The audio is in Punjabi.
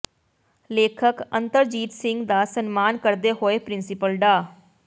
ਲੇਖਕ ਅਤਰਜੀਤ ਸਿੰਘ ਦਾ ਸਨਮਾਨ ਕਰਦੇ ਹੋਏ ਪ੍ਰਿੰਸੀਪਲ ਡਾ